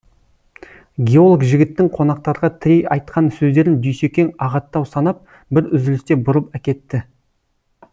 геолог жігіттің қонақтарға тірей айтқан сөздерін дүйсекең ағаттау санап бір үзілісте бұрып әкетті